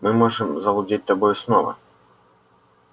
мы можем завладеть тобою снова